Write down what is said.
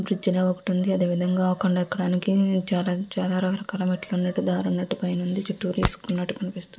Bridge అనేది ఒకటి ఉన్నది. అదే విధంగా కొండ ఎక్కడానికి చాలా రకరకాల మెట్లు ఉన్నట్టు దారున్నట్టు చుట్టూరా ఇసుక ఉన్నటు కనిపి --